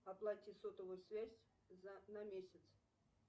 оплати сотовую связь за на месяц